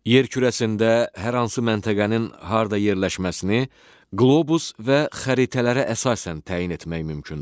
Yer kürəsində hər hansı məntəqənin harda yerləşməsini qlobus və xəritələrə əsasən təyin etmək mümkündür.